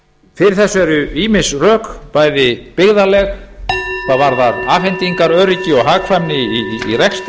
fyrir þessu eru ýmis rök bæði byggðaleg hvað varðar afhendingaröryggi og hagkvæmni í rekstri og